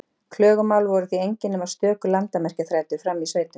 Klögumál voru því engin nema stöku landamerkjaþrætur frammi í sveitum.